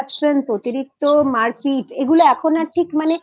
অতিরিক্ত মারপিট এগুলো এখন আর ঠিক মানে